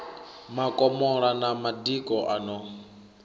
makomola na madiko a no